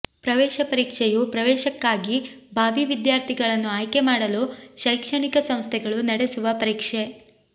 ಪ್ರವೇಶ ಪರೀಕ್ಷೆಯು ಪ್ರವೇಶಕ್ಕಾಗಿ ಭಾವೀ ವಿದ್ಯಾರ್ಥಿಗಳನ್ನು ಆಯ್ಕೆಮಾಡಲು ಶೈಕ್ಷಣಿಕ ಸಂಸ್ಥೆಗಳು ನಡೆಸುವ ಪರೀಕ್ಷೆ